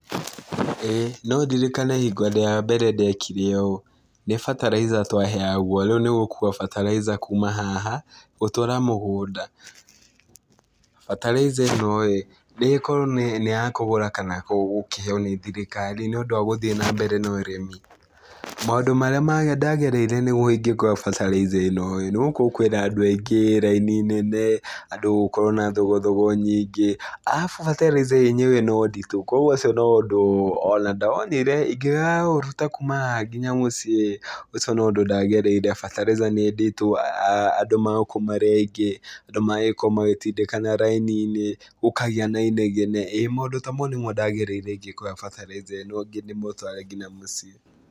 Ĩĩ no ndirikane hingo ya mbere ndekire ũũ, nĩ bataraitha twaheagwo rĩu nĩgũkua bataraitha kuma haha gũtwara mũgũnda. Bataraitha ĩno-ĩ nĩĩkorwo nĩ ya kũgũra kana gũkĩheo nĩ thirikari, nĩũndũ wa gũthiĩ na mbere na ũrĩmi. Maũndũ marĩa ndagereire nĩguo ingĩkoya bataraitha ĩno-ĩ, nĩgũkorwo kwĩna andũ aingĩ, raini nene, andũ gũkorwo na thogothogo nyingĩ arabu bataraitha yenyewe no nditũ kuoguo ũcio no ũndũ ona ndonire ingĩkaũruta kuma haha nginya mũciĩ-ĩ, ũcio no ũndũ ndagereire bataraitha nĩ nditũ, andũ magagĩkorwo marĩ aingĩ, andũ magagĩkorwo magĩtindĩkana raini-inĩ, gũkagĩa na inegene, ĩĩ maũndũ ta maũ nĩmo ndagereire ingĩkoya bataraitha ĩno ndĩmĩtware kinya mũciĩ.